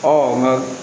nka